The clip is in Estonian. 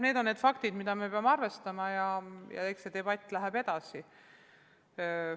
Need on faktid, millega me peame arvestama, ja eks see debatt läheb edasi.